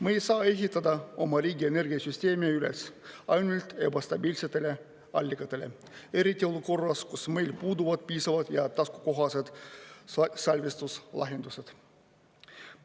Ma ei saa ehitada oma riigi energiasüsteemi üles ainult ebastabiilsetele allikatele, eriti olukorras, kus meil puuduvad piisavad ja taskukohased salvestuslahendused.